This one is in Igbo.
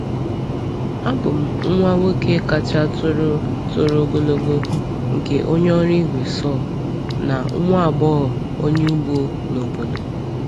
Abụ m nwa nwoke kacha toro toro ogologo nke onye ọrụ igwe saw na nwa agbọghọ onye ugbo n’obodo.